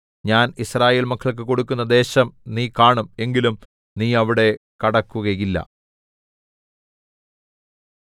ഞാൻ യിസ്രായേൽമക്കൾക്കു കൊടുക്കുന്ന ദേശം നീ കാണും എങ്കിലും നീ അവിടെ കടക്കുകയില്ല